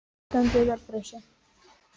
Þú stendur þig vel, Frissi!